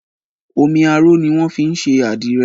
Omi arò ni wọ́n fi ń ṣe adire